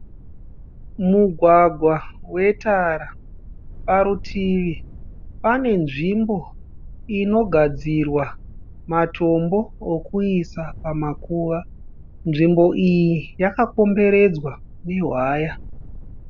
Mugwagwa wetara. Parutivi pane nzvimbo inogadzirwa matombo okuisa pamakuva. Nzvimbo iyi yakakomberedzwa nehwaya.